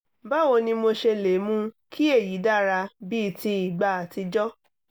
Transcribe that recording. báwo ni mo ṣe lè mú kí èyí dára bíi ti ìgbà àtijọ́?